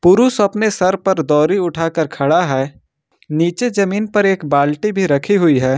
पुरुष अपने सर पर दौरी उठाकर खड़ा है नीचे जमीन पर एक बाल्टी भी रखी हुई है।